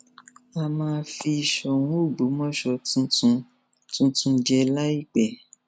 a máa fi sọrun ọgbọmọṣẹ tuntun tuntun jẹ láìpẹ